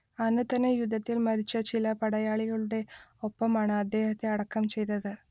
അന്നു തന്നെ യുദ്ധത്തിൽ മരിച്ച ചില പടയാളികളുടെ ഒപ്പമാണ് അദ്ദേഹത്തെ അടക്കം ചെയ്തത്